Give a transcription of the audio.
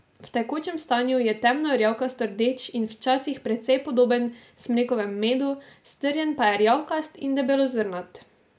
V tekočem stanju je temno rjavkasto rdeč in včasih precej podoben smrekovemu medu, strjen pa je rjavkast in debelozrnat.